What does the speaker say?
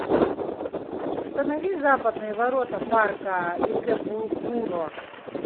установи западные ворота парка икэбукуро